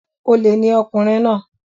Olè ni ọkùnrin náà